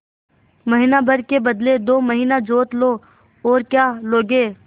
महीना भर के बदले दो महीना जोत लो और क्या लोगे